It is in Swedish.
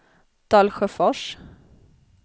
Dalsjöfors